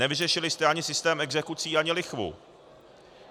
Nevyřešili jste ani systém exekucí, ani lichvu.